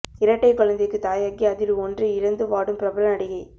இரட்டை குழந்தைக்கு தாயாகி அதில் ஒன்றை இழந்து வாடும் பிரபல நடிகை